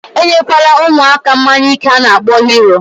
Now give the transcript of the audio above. Enye kwana umuaka mmanya ike ana akpo Hero